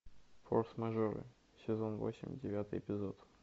форс мажоры сезон восемь девятый эпизод